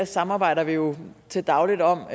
samarbejder vi jo til daglig om